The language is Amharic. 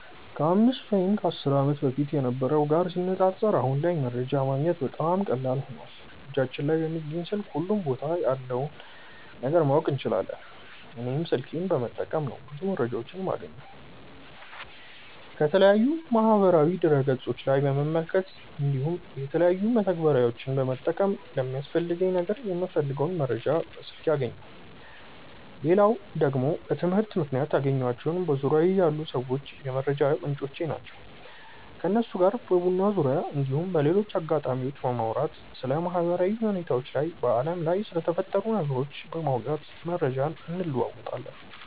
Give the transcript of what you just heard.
ከ 5 ወይም 10 ዓመት በፊት ከነበረው ጋር ሲነጻጸር አሁን ላይ መረጃ ማግኘት በጣም ቀላል ሆኖዋል እጃችን ላይ በሚገኝ ስልክ ሁሉም ቦታ ያለውን ነገር ማወቅ እንችላለን። እኔም ስልኬን በመጠቀም ነው ብዙ መረጃዎችን የማገኘው። ከተለያዩ የማህበራዊ ድረ ገፆች ላይ በመመልከት እንዲሁም የተለያዩ መተግበሪያዎችን በመጠቀም ለሚያስፈልገኝ ነገር የምፈልገውን መረጃ በስልኬ አገኛለው። ሌላው ደግሞ በትምህርት ምክንያት ያገኘኳቸው በዙርያዬ ያሉ ሰዎች የመረጃ ምንጮቼ ናቸው። ከነሱ ጋር በቡና ዙርያ እንዲሁም በሌሎች አጋጣሚዎች በማውራት ስለ ማህበራዊ ሁኔታዎች እና በአለም ላይ ስለተፈጠሩ ነገሮች በማውጋት መረጃ እንለወጣለን።